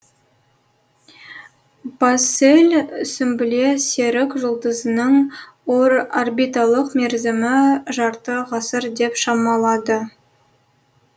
бассель сүмбіле серік жұлдызының орбиталық мерзімі жарты ғасыр деп шамалады